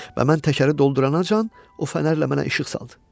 Və mən təkəri dolduranacan, o fənərlə mənə işıq saldı.